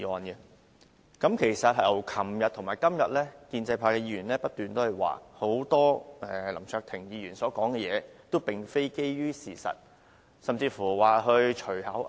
在昨天和今天的辯論中，建制派議員不斷就林卓廷議員所說的話，很多都並非基於事實。